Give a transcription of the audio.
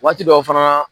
Waati dɔw fana